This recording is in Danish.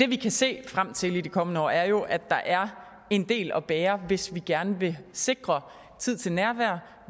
vi kan se frem til i de kommende år er jo at der er en del at bære hvis vi gerne vil sikre tid til nærvær